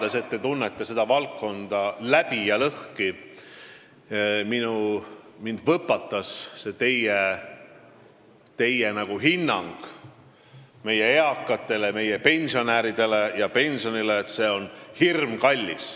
Teades, et te tunnete seda valdkonda läbi ja lõhki, pani mind võpatama teie hinnang meie eakatele, meie pensionäridele ja pensionitõusule, et see on hirmkallis.